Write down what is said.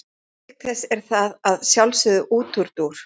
Auk þess er það að sjálfsögðu útúrdúr.